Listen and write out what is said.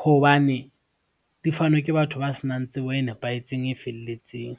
hobane di fanwa ke batho ba senang tsebo e nepahetseng, e felletseng.